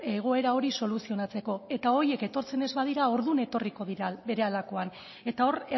egoera hori soluzionatzeko eta horiek etortzen ez badira orduan etorriko dira berehalakoan eta hor